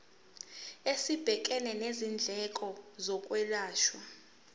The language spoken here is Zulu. esibhekene nezindleko zokwelashwa